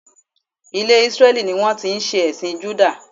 Ilè Isreli ni wón ti n se èsìn Juda